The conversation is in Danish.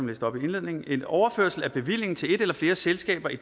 læste op i indledningen en overførsel af bevillingen til et eller flere selskaber i